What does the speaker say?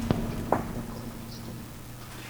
около пит стоп